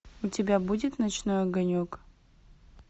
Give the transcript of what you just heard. у тебя будет ночной огонек